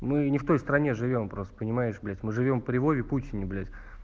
мы не в той стране живём просто понимаешь блять мы живём при вове путине блять